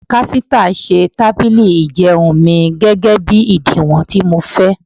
Káfíntà mi ṣe tábìlì ìjẹun mi, gẹ́gẹ́bí ìdiwọ̀n tí mo fẹ́.